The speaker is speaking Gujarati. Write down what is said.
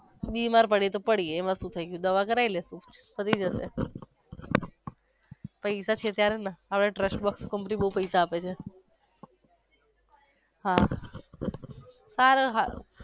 બીમાર પડયે તો પડયે એમા શુ થઈ ગયું દવા કરાવી લેશુ પતીજશે. પૈસા છે ત્યારે જ ને હવે trust માં company બોવ પૈસા આપે છે. હા હારું હારું.